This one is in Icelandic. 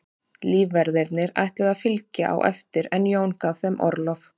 Lífverðirnir ætluðu að fylgja á eftir en Jón gaf þeim orlof.